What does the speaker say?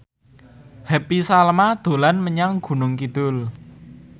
Happy Salma dolan menyang Gunung Kidul